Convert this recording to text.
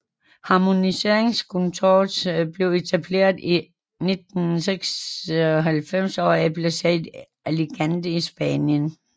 Harmoniseringskontorets blev etableret i 1996 og er placeret i Alicante i Spanien